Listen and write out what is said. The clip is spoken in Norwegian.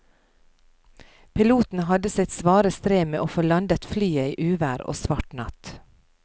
Piloten hadde sitt svare strev med å få landet flyet i uvær og svart natt.